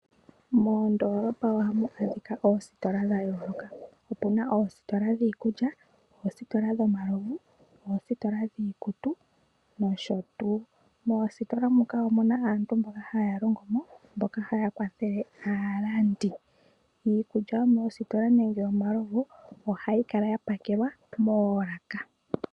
Moondolopa ohamu adhika oositola dha yooloka. Opuna oositola dhiikulya, oositola dhomalovu, oositola dhiikutu nosho tuu. Moositola muka omuna aantu mbono haya longo mo mboka haya kwathele aalandi. Iikulya yomoositola nenge omalovu ohayi kala ya pakelwa moolaka.